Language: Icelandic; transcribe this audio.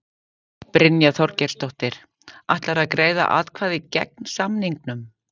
Brynja Þorgeirsdóttir: Ætlarðu að greiða atkvæði gegn samningnum?